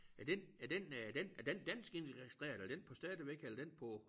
Er den er den øh er den er den dansk indregistreret er den på stadigvæk eller er den på